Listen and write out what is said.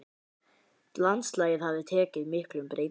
Landslagið hafði tekið miklum breytingum.